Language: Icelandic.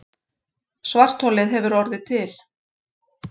Svartholið hefur orðið til.